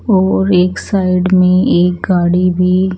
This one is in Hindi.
वो एक साइड में एक गाड़ी भी--